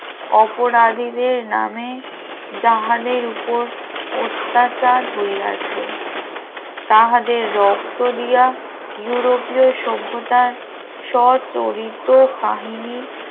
অপরাধীদের নামে জাহাজের উপর অত্যাচার হয়ে আছে তাহাদের রক্ত দিয়া ইউরোপীয় সভ্যতার স্বচরিত কাহিনী